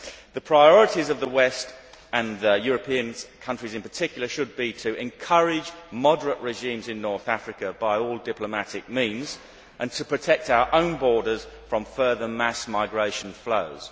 The priorities of the West, and the European countries in particular, should be to encourage moderate regimes in North Africa by all diplomatic means, and to protect our own borders from further mass migration flows.